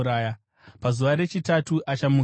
Pazuva rechitatu achamukazve.”